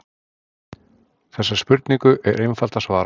Þessari spurningu er einfalt að svara.